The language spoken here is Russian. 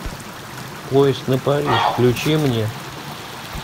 поезд на париж включи мне